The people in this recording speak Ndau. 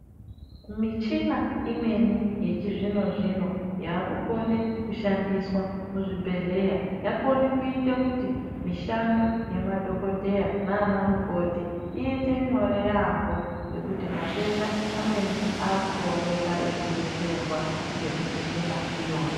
Michina imweni yamechizvino zvino yakukome kushandiswa kuzvibhedhleya yakone kuite kuti mishando yemadhogodheya nana mukoti iite nyore yaambo nekuti matenda amweni akutooneka eidetserwa nemichina iyona.